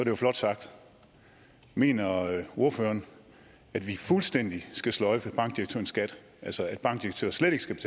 jo flot sagt mener ordføreren at vi fuldstændig skal sløjfe bankdirektørens skat altså at bankdirektører slet ikke skal